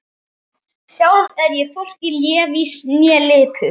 Sjálf er ég hvorki lævís né lipur.